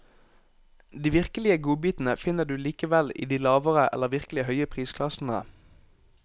De virkelige godbitene finner du likevel i de lavere eller virkelig høye prisklassene.